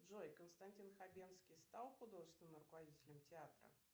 джой константин хабенский стал художественным руководителем театра